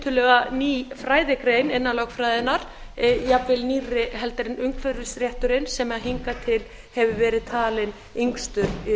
tiltölulega ný fræðigrein innan lögfræðinnar jafnvel nýrri heldur en umhverfisrétturinn sem hingað til hefur verið talinn yngstur